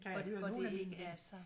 Kan jeg høre nogle af mine